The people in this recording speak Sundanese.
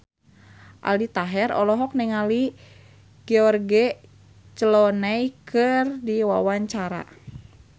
Aldi Taher olohok ningali George Clooney keur diwawancara